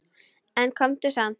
En komdu samt!